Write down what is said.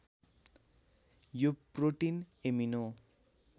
यो protein amino